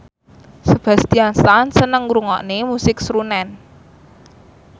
Sebastian Stan seneng ngrungokne musik srunen